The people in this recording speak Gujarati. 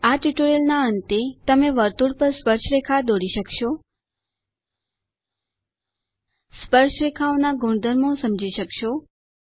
આ ટ્યુટોરીયલના અંતે તમે વર્તુળ પર સ્પર્શરેખા દોરી શકશો સ્પર્શરેખાઓના ગુણધર્મો સમજી શકશો